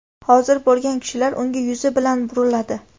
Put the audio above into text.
hozir bo‘lgan kishilar unga yuzi bilan buriladi.